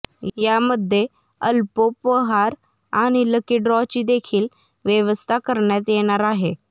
यामध्ये अल्पोपहार आणि लकी ड्रॉ ची देखील व्यवस्था करण्यात येणार आहे